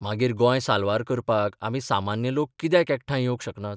मागीर गोंय साल्वार करपाक आमी सामान्य लोक कित्याक एकठांय येवंक शकनात?